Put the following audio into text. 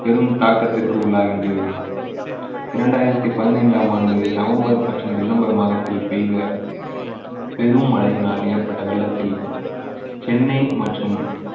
பெரும் தாக்கத்திற்கு உள்ளாகின்றது இரண்டாயிரத்தி பதினைந்தாம் ஆண்டு நவம்பர் மற்றும் டிசம்பர் மாதத்தில் பெய்த பெரும் மழையினால் ஏற்பட்ட வெள்ளத்தில் சென்னை மற்றும்